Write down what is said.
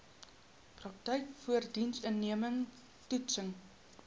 praktyk voorindiensneming toetsing